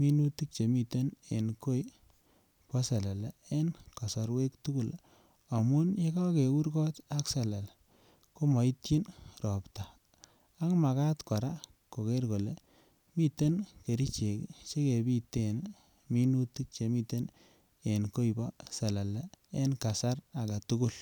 minutik chemiten en koi bo selele en kosorwek tukuk amun yekokeur kot ak selele komoityin ropta ak makat Koraa koker kole miten kerichek kii chekipiten minutik3 chemiten en koi bo selele en kasar agetukul.